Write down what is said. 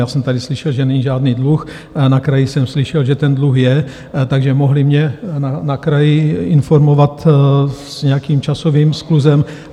Já jsem tady slyšel, že není žádný dluh, na kraji jsem slyšel, že ten dluh je, takže mohli mě na kraji informovat s nějakým časovým skluzem.